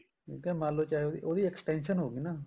ਠੀਕ ਆ ਮੰਨਲੋ ਚਾਹੇ ਉਹਦੀ extension ਹੋਗੀ ਨਾ